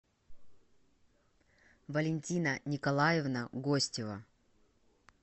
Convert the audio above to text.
валентина николаевна гостева